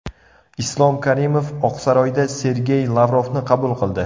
Islom Karimov Oqsaroyda Sergey Lavrovni qabul qildi.